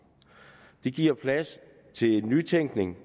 det giver plads til nytænkning